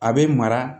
A bɛ mara